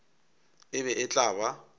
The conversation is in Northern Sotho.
e be e tla ba